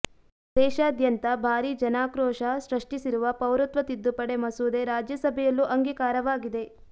ದೇಶಾದ್ಯಂತ ಭಾರೀ ಜನಾಕ್ರೋಶ ಸೃಷ್ಟಿಸಿರುವ ಪೌರತ್ವ ತಿದ್ದುಪಡಿ ಮಸೂದೆ ರಾಜ್ಯಸಭೆಯಲ್ಲೂ ಅಂಗೀಕಾರವಾಗಿದೆ